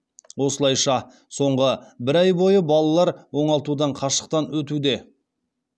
осылайша соңғы бір ай бойы балалар оңалтудан қашықтан өтуде